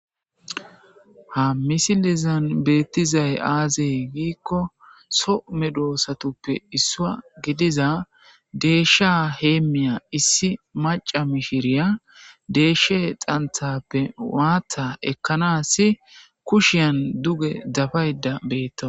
ha misilizan beettizay aazey giikko some doosatuppe issua gidiza deeshsha heemmiya issi maca mishiriya deeshshe xanthappe waatta ekkanas kushiyan duge dabayda beetto